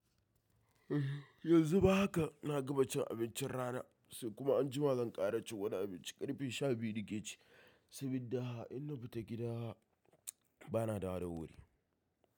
Yanzu ma haka na gama cin abincin rana sai kuma anjima zan ƙara cin wani abinci ƙarfe sha biyu na ke ci. Sabida in na fita gida bana da wowa dawuri.